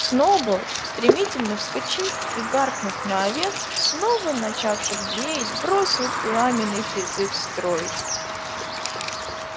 сноуболл стремительно вскочив и гаркнув на овец снова начавших блеять бросил пламенный призыв строить